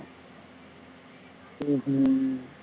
ஹம் ஹம்